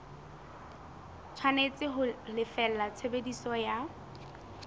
tshwanetse ho lefella tshebediso ya